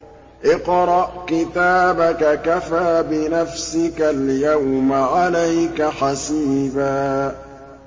اقْرَأْ كِتَابَكَ كَفَىٰ بِنَفْسِكَ الْيَوْمَ عَلَيْكَ حَسِيبًا